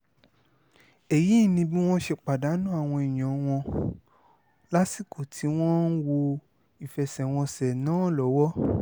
èyí ni bí wọ́n ṣe pàdánù àwọn èèyàn wọn lásìkò tí wọ́n ń wọ ìfẹsẹ̀wọnsẹ̀ náà lọ́wọ́